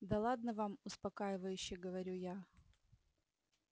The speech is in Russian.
да ладно вам успокаивающе говорю я